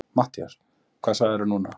MATTHÍAS: Hvað sagðirðu núna?